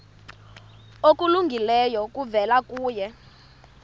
okulungileyo kuvela kuye